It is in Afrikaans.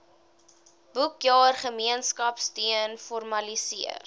boekjaar gemeenskapsteun formaliseer